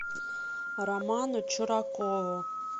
роману чуракову